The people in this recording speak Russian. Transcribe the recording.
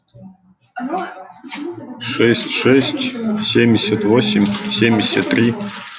шесть шесть семьдесят восемь семьдесят три